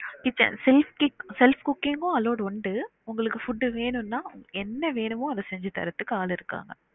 kitchen self sti~ self cooking உ allowed உண்டு உங்களுக்கு food வேனும்னா என்ன வேணுமோ அத செஞ்சு தரதுக்கு ஆல்லு இருக்காங்க